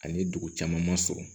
Ani dugu caman ma sɔrɔ